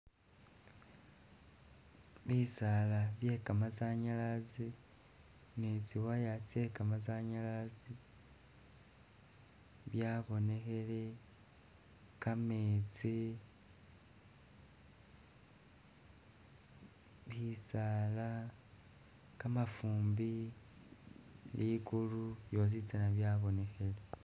Bisaala bye kamasanyalazi ni tsi wire tsye kamasanyalazi byabonekhele, kametsi, bisaala, kamafumbi, likulu byositsana byabonekhile.